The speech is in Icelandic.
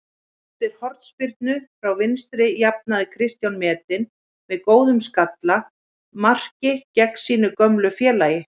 Eftir hornspyrnu frá vinstri jafnaði Kristján metinn með góðu skalla marki gegn sínu gömlu félagi.